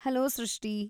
Hello ಸೃಷ್ಟಿ!